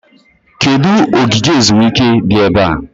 Kedụ ogige ezumike dị ebe a?